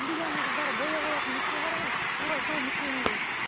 индияның қыздары бояп алатын нүкте бар ғой тура сол нүктені де